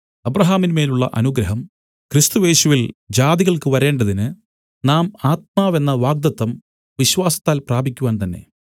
അബ്രാഹാമിന്മേലുള്ള അനുഗ്രഹം ക്രിസ്തുയേശുവിൽ ജാതികൾക്ക് വരേണ്ടതിന് നാം ആത്മാവെന്ന വാഗ്ദത്തം വിശ്വാസത്താൽ പ്രാപിക്കുവാൻ തന്നെ